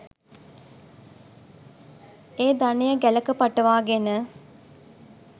ඒ ධනය ගැලක පටවා ගෙන